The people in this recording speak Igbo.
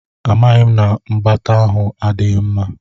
Amaghị m na mgbata ahụ adịghị mma.